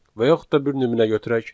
Və yaxud da bir nümunə götürək.